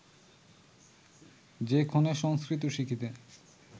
যে ক্ষণে সংস্কৃত শিখিতে